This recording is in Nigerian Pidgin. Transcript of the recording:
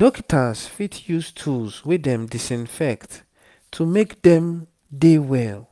dokita's fit use tools wey dem disinfect to make dem dey well